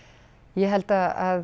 ég held að